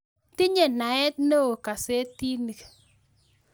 Tinye naet neoo kaseetiinik